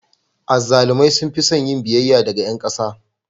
Azzalumai sun fi son yin biyayya daga ƴan ƙasa.